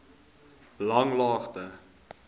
langlaagte